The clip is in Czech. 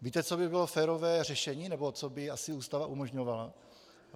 Víte, co by bylo férové řešení nebo co by asi Ústava umožňovala?